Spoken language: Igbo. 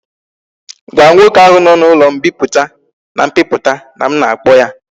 Gwa nwoke ahu no na ulo mpiputa and mbiputa na m na akpo ya!